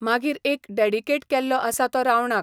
मागीर एक dedicate केल्लो आसा तो रावणाक.